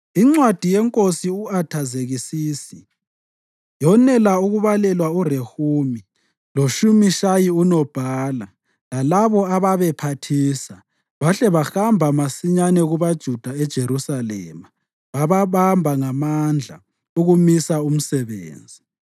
Incwadi yeNkosi u-Athazekisisi yonela ukubalelwa uRehumi loShimishayi unobhala lalabo ababephathisa bahle bahamba masinyane kubaJuda eJerusalema bababamba ngamandla ukumisa umsebenzi.